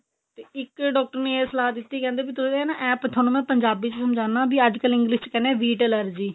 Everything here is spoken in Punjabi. ਤੇ ਇੱਕ ਡਾਕਟਰ ਨੇ ਇਹ ਸਲਾਹ ਦਿੱਤੀ ਕਹਿੰਦੇ ਇਹ ਤੁਹਾਨੂੰ ਮੈਂ ਪੰਜਾਬੀ ਵਿੱਚ ਸਮਝਾਦਾ ਅੱਜ ਕੱਲ English ਵਿੱਚ ਕਹਿੰਦੇ wheat allergy